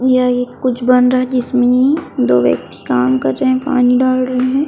यह एक कुछ बन रहा है जिस में दो व्यक्ति काम कर रहे है पानी डाल रहे है।